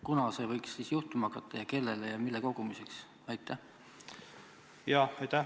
Kunas see võiks juhtuma hakata ja kellele ja mille kogumiseks?